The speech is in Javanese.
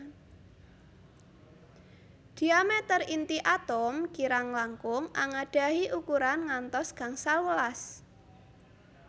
Diameter inti atom kirang langkung angadahi ukuran ngantos gangsal welas